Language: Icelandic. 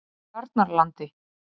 Tjarnarlandi